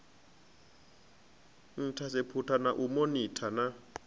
inthaseputha na u monitha na